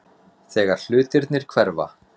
Þegar hlutirnir hverfa